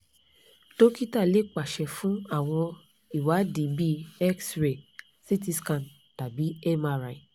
dókítà lè pàṣẹ fún àwọn ìwádìí bíi x-ray ct scan tàbí mri